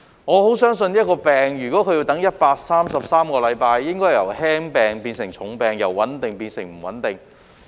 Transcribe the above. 我十分相信若一種病症要等133個星期，病情應會由輕病變成重病，由穩定變成不穩定。